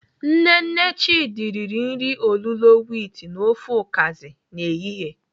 Nne nne Chidi riri nri olulo wit na ofe ukazi n'ehihie.